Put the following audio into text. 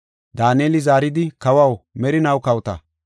Daaneli zaaridi, “Kawaw, merinaw kawota!